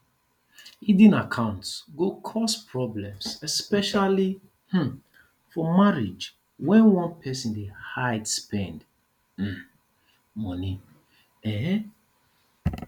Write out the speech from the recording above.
hidden accounts go cause problems especially um for marriage when one person dey hide spend um money um